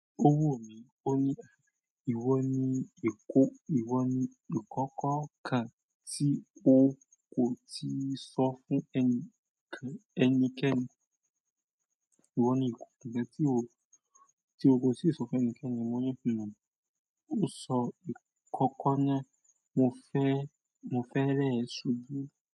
Ó wò mí, ó ní "Iwo ni ìkọ́ iwo ni ikokọ́ kan tí o kò tíì sọ fún enikan ẹnikẹ́ni? Èwo ni ìkọ́kọ́ kan tí o kò tíì sọ fún ẹnikẹ́ni?" Mo ni pe o, ó sọ ìkọ́kọ́ náà, mo fẹ́, mo fẹ́ rẹ súbu.